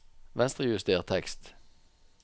Venstrejuster tekst